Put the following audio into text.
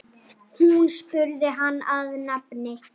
Þeir eru vel til fara.